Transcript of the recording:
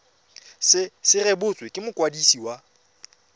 se rebotswe ke mokwadisi wa